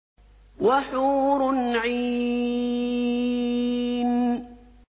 وَحُورٌ عِينٌ